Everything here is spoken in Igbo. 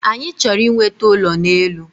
Anyi chọrọ inweta ụlọ n’elu